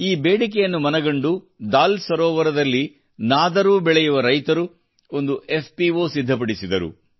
ಈ ಬೇಡಿಕೆಯನ್ನು ಮನಗಂಡು ದಾಲ್ ಸರೋವರದಲ್ಲಿ ನಾದರೂ ಬೆಳೆಯುವ ರೈತರು ಒಂದು ಎಫ್ಪಿಒ ಸಿದ್ಧಪಡಿಸಿದರು